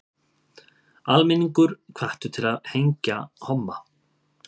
Almenningur hvattur til að hengja homma